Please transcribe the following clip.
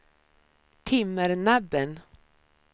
Timmernabben